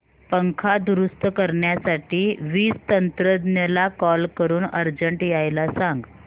पंखा दुरुस्त करण्यासाठी वीज तंत्रज्ञला कॉल करून अर्जंट यायला सांग